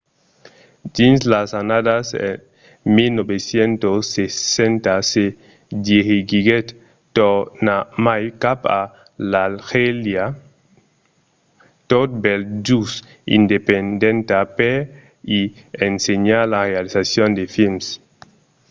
dins las annadas 1960 se dirigiguèt tornarmai cap a l’algèria tot bèl just independenta per i ensenhar la realizacion de films